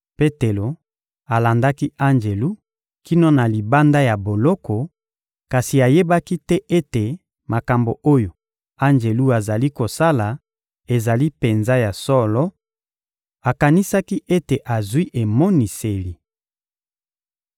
Petelo alandaki anjelu kino na libanda ya boloko, kasi ayebaki te ete makambo oyo anjelu azali kosala ezali penza ya solo: akanisaki ete azwi emoniseli.